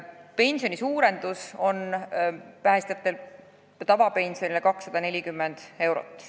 Pensioni suurendus on päästjatel tavapensionil 240 eurot.